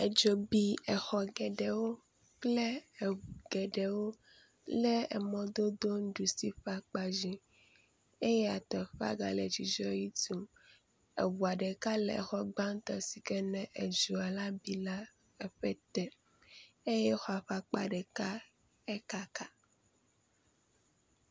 Edzo bi exɔ geɖewo kple eŋu geɖewo le emɔdodo nuɖusi ƒe kpadzi. Eya teƒea gale edzudzɔ tum, eŋua ɖeka le exɔ gbatɔ̃ sike ne edzoa la bi la eƒe te eye exɔa ƒe akpa ɖeka ekaka.